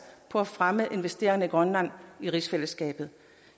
for at fremme investeringer i grønland i rigsfællesskabet